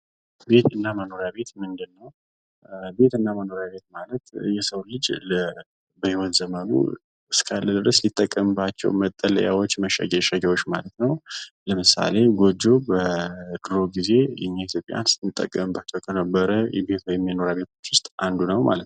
ቤት ከግድግዳና ጣሪያ የዘለለ ትርጉም ያለው ስሜታዊ ትስስር ሲሆን፣ መኖሪያ ቤት በቀላሉ የመኖርያ አድራሻን ያመለክታል። አንዱ የባለቤቶቹን ማንነት የሚያንፀባርቅ ሲሆን፣ ሌላው አስፈላጊውን ተግባር ያከናውናል።